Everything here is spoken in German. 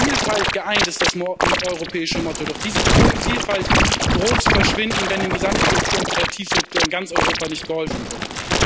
In Vielfalt geeint ist das europäische Motto, doch diese Vielfalt droht zu verschwinden, wenn dem gesamten Kultur und Kreativsektor in ganz Europa nicht geholfen wird.